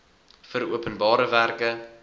vir openbare werke